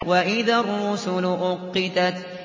وَإِذَا الرُّسُلُ أُقِّتَتْ